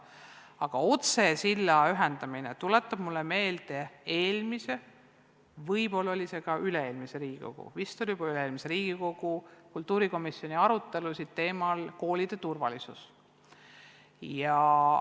Aga otsesilla kaudu ühendamine tuletab mulle meelde eelmise, võib-olla ka üle-eelmise Riigikogu – jah, vist juba üle-eelmise Riigikogu – kultuurikomisjoni arutelusid koolide turvalisuse teemal.